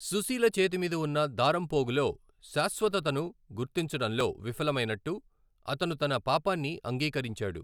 సుశీల చేతిమీద ఉన్న దారంపోగులో శాశ్వతతను గుర్తించడంలో విఫలమైనట్టు అతను తన పాపాన్ని అంగీకరించాడు.